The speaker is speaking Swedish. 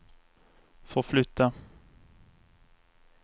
förflytta